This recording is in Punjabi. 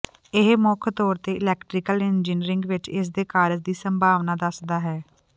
ਇਹ ਮੁੱਖ ਤੌਰ ਤੇ ਇਲੈਕਟ੍ਰੀਕਲ ਇੰਜਨੀਅਰਿੰਗ ਵਿੱਚ ਇਸ ਦੇ ਕਾਰਜ ਦੀ ਸੰਭਾਵਨਾ ਦੱਸਦਾ ਹੈ